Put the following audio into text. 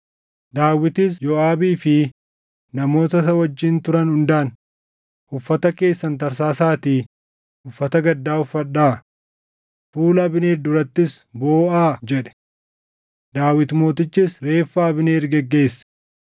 Sababii inni lola Gibeʼoon irratti obboleessa isaanii Asaaheelin ajjeeseef Yooʼaabii fi obboleessi isaa Abiishaayi Abneerin ajjeesan.